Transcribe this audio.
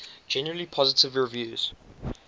generally positive reviews